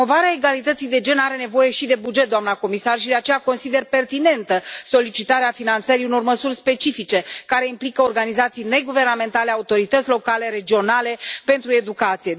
Promovarea egalității de gen are nevoie și de buget, doamnă comisar, și, de aceea, consider pertinentă solicitarea finanțării unor măsuri specifice care implică organizații neguvernamentale, autorități locale și regionale pentru educație.